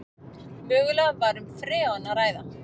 Mögulega var um freon að ræða